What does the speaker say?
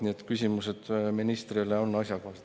Nii et küsimused ministrile on asjakohased.